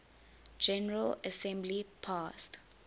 general assembly passed